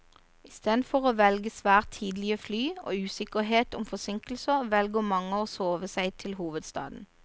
Isteden for å velge svært tidlige fly og usikkerhet om forsinkelser, velger mange å sove seg til hovedstaden.